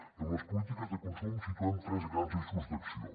i en les polítiques de consum situem tres grans eixos d’acció